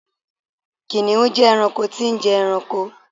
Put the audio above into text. kìnìún je ẹranko tí n je ẹranko